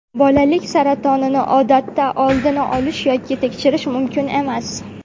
Bolalik saratonini odatda oldini olish yoki tekshirish mumkin emas.